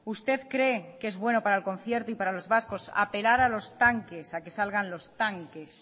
usted cree que es bueno para el concierto y para los vascos apelar a los tanques a que salgan los tanques